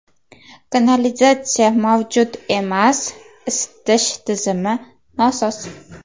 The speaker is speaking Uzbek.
Kanalizatsiya mavjud emas, isitish tizimi nosoz.